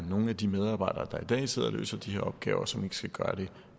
nogle af de medarbejdere der i dag sidder og løser de her opgaver som ikke skal gøre det